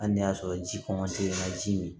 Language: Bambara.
Hali n'a y'a sɔrɔ ji na ji min